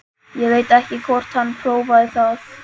Ég veit ekki hvort hann prófaði það.